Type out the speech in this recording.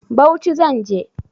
Bauchi zan je.